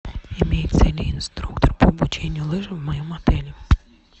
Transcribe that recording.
имеется ли инструктор по обучению лыжам в моем отеле